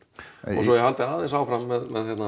og svo ég haldi aðeins áfram með